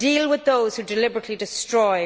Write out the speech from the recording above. Deal with those who deliberately destroy.